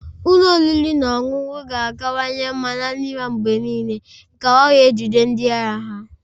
Ụlọ oriri na ọṅụṅụ ga-akawanye mma na nri ha mgbe niile ka ha wee jide ndị ahịa ha